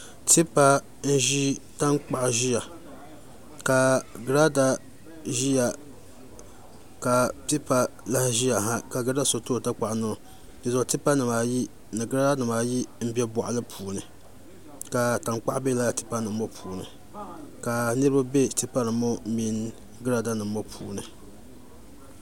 Tipa n ʒi tankpaɣu ʒiya ka girada ʒiya ka tipa lahi ʒiya ha ka Girɛda so tooi tankpaɣu niŋo dinzuɣu tipa nimaayi ni girada nimaayi n bɛ boɣali puuni ka tankpaɣu bɛ laa tipa nim ŋo puuni ka niraba bɛ tipa nim ŋo mini girada nim ŋo puuni